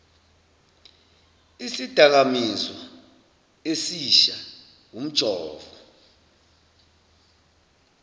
isidakamizwa esisha umjovo